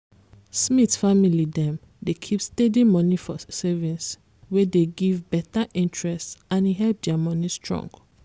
smith family dem dey keep steady moni for savings wey dey give better interest and e help their moni strong.